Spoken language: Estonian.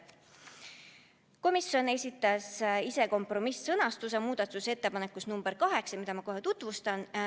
Komisjon esitas ise kompromiss-sõnastuse muudatusettepanekus nr 8, mida ma kohe tutvustan.